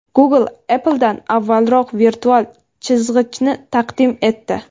Google Apple’dan avvalroq virtual chizg‘ichni taqdim etdi.